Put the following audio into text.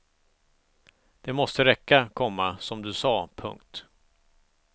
Det måste räcka, komma som du sade. punkt